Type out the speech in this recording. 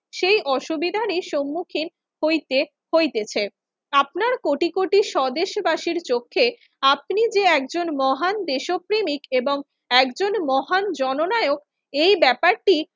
সেই অসুবিধারই সম্মুখীন হইতে হইতেছে। আপনার কোটি কোটি স্বদেশবাসীর চক্ষে আপনি যে একজন মহান দেশপ্রেমিক এবং একজন মহান জননায়ক এই ব্যাপারটি